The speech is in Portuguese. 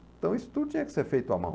Então isso tudo tinha que ser feito à mão.